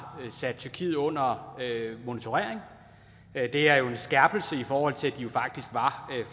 sat tyrkiet under monitorering det er jo en skærpelse i forhold til at de faktisk var